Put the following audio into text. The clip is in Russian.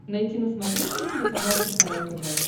найти на смотрешке телеканал кхл тв